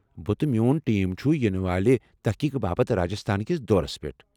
بہٕ تہٕ میون ٹیم چُھ یِنہ والہِ تحقیقہٕ باپت راجستھان كِس دورس پیٹھ ۔